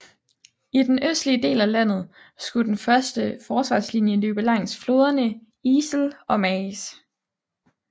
I den østlige del af landet skulle den første forsvarslinje løbe langs floderne IJssel og Maas